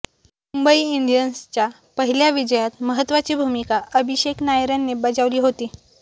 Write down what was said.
मुंबई इंडियन्सच्या पहिल्या विजयात महत्त्वाची भूमिका अभिषेक नायरने बजावली होती